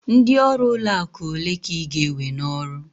Ndị ọrụ ụlọ akụ ole ka ị ga-ewe n'ọrụ?